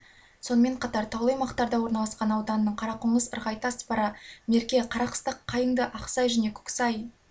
сонымен қатар таулы аймақтарда орналасқан ауданының қарақоңыз ырғайты аспара мерке қарақыстақ қайыңды ақсай және көксай